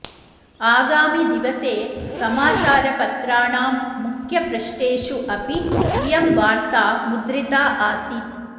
आगामिदिवसे समाचारपत्राणां मुख्यपृष्ठेषु अपि इयं वार्त्ता मुद्रिता आसीत्